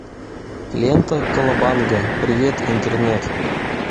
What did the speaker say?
лента колобанга привет интернет